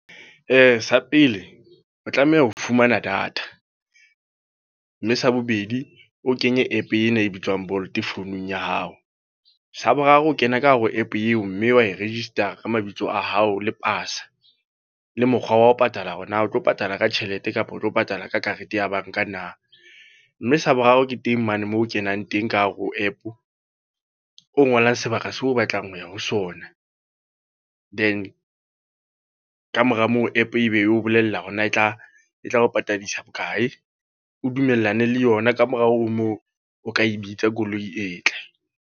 Sa pele, o tlameha ho fumana data. Mme sa bobedi, o kenye app ena e bitswang Bolt founung ya hao. Sa boraro o kena ka hara app eo, mme wa e register-a ka mabitso a hao le pasa. Le mokgwa wa ho patala hore na o tlo patala ka tjhelete kapa o tlo patala ka karete ya banka na. Mme sa boraro ke teng mane moo o kenang teng ka hare ho app, o ngolang sebaka seo o batlang ho ya ho sona. Then kamora moo, app ebe e o bolella hore na e tla, e tla o patadisa bokae. O dumellane le yona kamorao ho moo, o ka e bitsa koloi e tle.